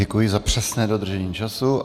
Děkuji za přesné dodržení času.